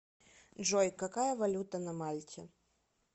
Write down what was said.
джой какая валюта на мальте